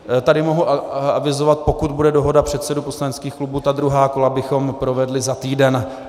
Tady mohu avizovat, pokud bude dohoda předsedů poslaneckých klubů, ta druhá kola bychom provedli za týden.